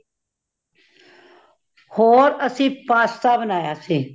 ਹੋਰ ਅਸੀ , pasta ਬਣਾਇਆ ਸੀ